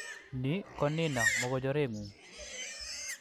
Nii ko Nina, mogochorengung